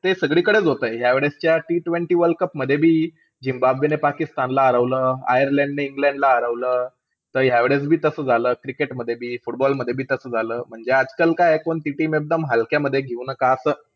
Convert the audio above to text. ते सगळीकडेचं होतंय. यावेळेस च्या T TWENTY वर्ल्ड कपमध्ये बी झिम्बाब्बेने पाकिस्तानला हरवलं. आयर्लंडने इंग्लंडला हरवलं. त यावेळेस बी तसं झालं cricket मध्ये बी. Football मध्ये बी तसं झालं. म्हणजे आजकाल काये कोणती team हलक्यामध्ये घेऊ नका असं.